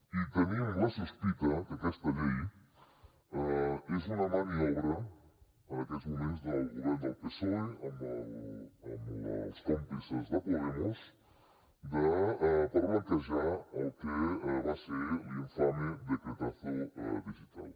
i tenim la sospita que aquesta llei és una maniobra en aquests moments del govern del psoe amb els còmplices de podemos per blanquejar el que va ser l’infame decretazo digital